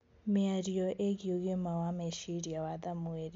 Mĩario igiĩ ũgima wa meciria wa samuel